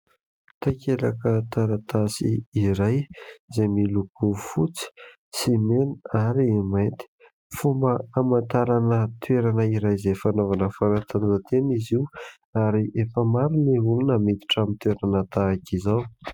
Takelaka taratasy iray, izay miloko fotsy sy mena ary mainty. Fomba hamantarana toerana iray, izay fanaovana fanatanjahan-tena izy io. Ary efa maro ny olona no miditra amin'ny toerana tahak'izao.